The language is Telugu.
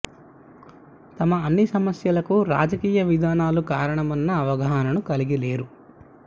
తమ అన్ని సమస్యలకు రాజకీయ విధానాలు కారణమన్న అవగాహనను కలిగి లేరు